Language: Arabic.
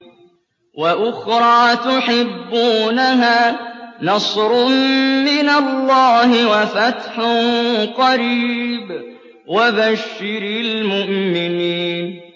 وَأُخْرَىٰ تُحِبُّونَهَا ۖ نَصْرٌ مِّنَ اللَّهِ وَفَتْحٌ قَرِيبٌ ۗ وَبَشِّرِ الْمُؤْمِنِينَ